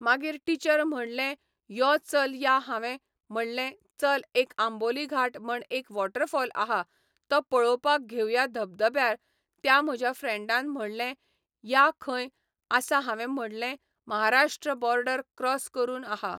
मागीर टीचर म्हणलें यो चल या हांवें म्हणलें चल एक आंबोली घाट म्हण एक वॉटरफोल आहा तो पळोवपाक घेवया धबधब्यार त्या म्हज्या फ्रेंडान म्हणलें या खंय आसा हांवें म्हणलें म्हाराष्ट्र बोर्डर क्रॉस करून आहा